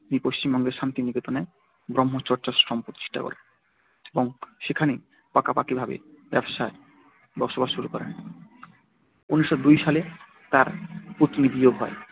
তিনি পশ্চিমবঙ্গের শান্তিনিকেতনে ব্রহ্মচর্যাশ্রম প্রতিষ্ঠা করেন এবং সেখানেই পাকা পাকী ভাবে বসবাস শুরু করেন উনিশো দুই সালে তার পত্নীবিয়োগ হয়।